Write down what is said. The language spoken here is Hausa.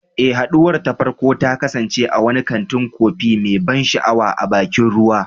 Eh, haduwar ta farko ta kasance a wani kantin kofi mai ban sha'awa a bakin ruwa.